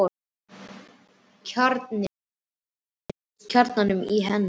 Kjarninn í mér tengdist kjarnanum í henni.